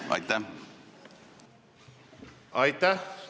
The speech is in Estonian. Aitäh!